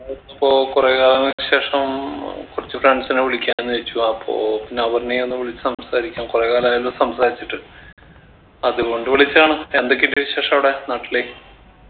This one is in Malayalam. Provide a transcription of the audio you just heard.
ഞാൻ അപ്പൊ കൊറേ കാലങ്ങൾക്ക് ശേഷം ഏർ കൊറച്ചു friends നെ വിളിക്കാന്ന് വിചാരിച്ചു അപ്പോ പിന്നെ അപർണ്ണയേയും ഒന്ന് വിളിച്ചു സംസാരിക്കാം കൊറേ കാലായല്ലോ സംസാരിച്ചിട്ട് അതുകൊണ്ട് വിളിച്ചതാണ് എന്തൊക്കെയുണ്ട് വിശേഷം അവിടെ നാട്ടില്